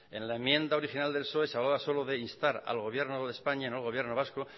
en la enmienda original del psoe se hablaba solo de instar al gobierno de españa no al gobierno vasco